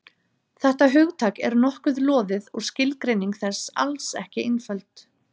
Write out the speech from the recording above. Þetta hugtak er nokkuð loðið og skilgreining þess alls ekki einföld.